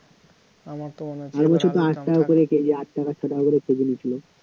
আগের বছর তো আট টাকা করে কেজি আট টাকা ছ টাকা করে কেজি নিচ্ছিল